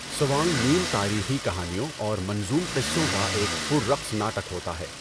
سوانگ نیم تاریخی کہانیوں اور منظوم قصّوں کا ایک پر رقص ناٹک ہوتا ہے۔